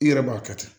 I yɛrɛ b'a kɛ ten